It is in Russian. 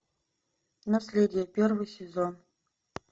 наследие первый сезон